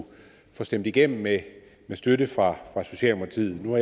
få stemt igennem med støtte fra socialdemokratiet nu